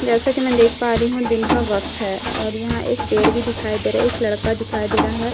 जैसा कि मैं देख पा रही हूँ दिन का वक़्त है ओ और यहां पेड़ भी दिखाई दे रहा है एक लड़का दिखाई दे रहा है लड़के--